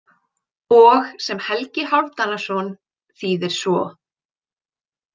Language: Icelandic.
Og sem Helgi Hálfdanarson þýðir svo.